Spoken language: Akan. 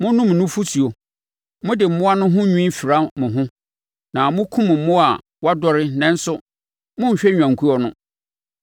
Monom nufosuo, mode mmoa no ho nwi fira mo ho na mokum mmoa a wɔadɔre nanso monhwɛ nnwankuo no.